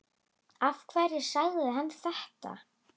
Af hverju sagði hann þetta?